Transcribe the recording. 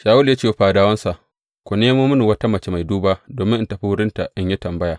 Shawulu ya ce wa fadawansa, Ku nemo mini wata mace mai duba domin in tafi wurinta in yi tambaya.